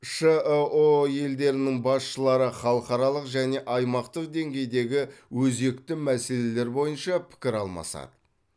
шыұ елдерінің басшылары халықаралық және аймақтық деңгейдегі өзекті мәселелер бойынша пікір алмасады